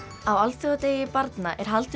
á alþjóðadegi barna er haldið